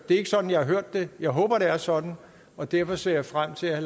er ikke sådan jeg har hørt det jeg håber det er sådan og derfor ser jeg frem til at